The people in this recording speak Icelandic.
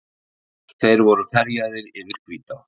Þeir voru ferjaðir yfir Hvítá.